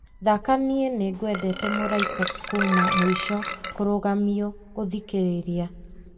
thaaka niĩ nĩngwendete mũraika kuuma mũico kũrũgamio gũthikĩrĩria